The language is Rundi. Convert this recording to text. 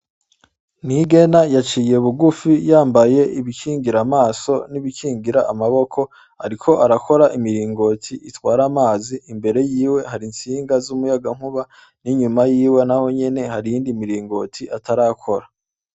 Nigena yaciye bugufi yambaye ibikingira amaso n'ibikingira amaboko, ariko arakora imiringoti itwara amazi imbere yiwe hari intsinga z'umuyagankuba n'inyuma yiwe na ho nyene harindi miringoti atarakora.